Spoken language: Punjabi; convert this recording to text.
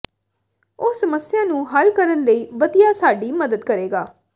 ਉਹ ਸਮੱਸਿਆ ਨੂੰ ਹੱਲ ਕਰਨ ਲਈ ਵਧੀਆ ਸਾਡੀ ਮਦਦ ਕਰੇਗਾ